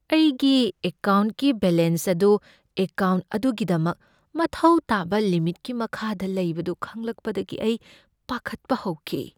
ꯑꯩꯒꯤ ꯑꯦꯀꯥꯎꯟꯠꯀꯤ ꯕꯦꯂꯦꯟꯁ ꯑꯗꯨ ꯑꯦꯀꯥꯎꯟꯠ ꯑꯗꯨꯒꯤꯗꯃꯛ ꯃꯊꯧ ꯇꯥꯕ ꯂꯤꯃꯤꯠꯀꯤ ꯃꯈꯥꯗ ꯂꯩꯕꯗꯨ ꯈꯪꯂꯛꯄꯗꯒꯤ ꯑꯩ ꯄꯥꯈꯠꯄ ꯍꯧꯈꯤ꯫